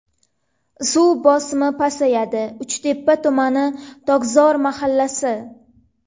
Suv bosimi pasayadi: Uchtepa tumani: Tokzor mahallasi.